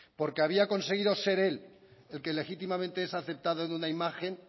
porque había conseguido ser él el que legítimamente es aceptado en una imagen